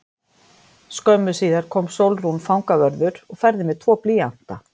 Skömmu síðar kom Sólrún fangavörður og færði mér tvo blýanta.